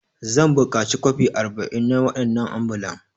Zan buƙaci kwafi arba'in na waɗannan ambulan.